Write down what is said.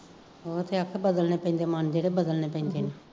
ਹੋਰ ਸਕਸ ਬਦਲਣੇ ਪੈਂਦੇ ਆ, ਮਨ ਜਿਹੜੇ ਬਦਲਣੇ ਪੈਂਦੇ ਨੇ